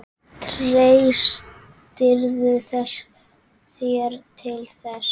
Treystirðu þér til þess?